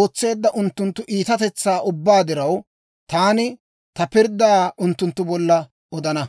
ootseedda unttunttu iitatetsaa ubbaa diraw, taani ta pirddaa unttunttu bolla odana.